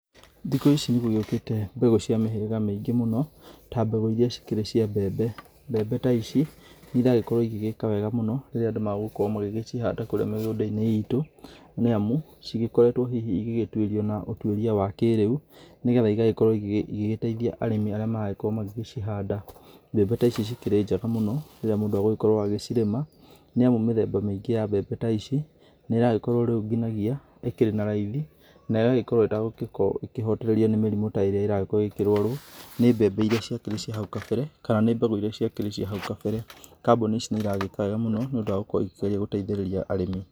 Thiku ici nĩ gũgĩũkĩte mbegu cia mĩhĩrĩga mĩingĩ mũno ta mbegu iria cikĩrĩ cia mbembe, mbembe ta ici nĩ iragĩkorwo igĩgĩka wega mũno rĩríĩ andũ magũkorwo magĩcihanda kũrĩa mĩgũnda-inĩ itũ nĩamũ cikoretwo hihi igĩgĩtũĩrio na ũtũĩria wa kĩrĩu, nĩgetha igagĩkorwo igĩteithia arĩmi arĩa marakorwo magĩgĩcihanda, mbembe ta ici cikĩrĩ njega mũno rĩrĩa mũndũ agũkorwo agĩcirĩma nĩ amũ mĩthemba mĩingĩ ya mbembe ta ici nĩ ĩragĩkorwo rĩu ngĩnyagia ĩkĩrĩ na raithi na igagĩkorwo etagũgĩkorwo ĩkĩhotererio nĩ mĩrimũ ta ĩrĩa ĩragĩkorwo ĩkĩrũarwo nĩ mbembe irĩa cia kĩrĩ cia hau kabere kana nĩ mbegu irĩa ciarĩ cia hau kabere, kambuni ici nĩ iragĩka wega mũno nĩ ũndũ wa gũkorwo ikĩgeria gũteithĩrĩria arĩmi.